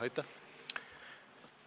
Aitäh!